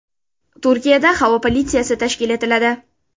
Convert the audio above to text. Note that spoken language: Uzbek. Turkiyada havo politsiyasi tashkil etiladi.